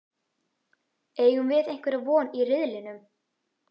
Eigum við einhverja von í riðlinum?